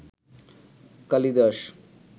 Kalidas